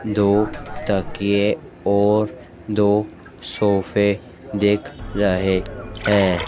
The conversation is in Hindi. दो तकिये और दो सोफ़े दिख रहे हैं।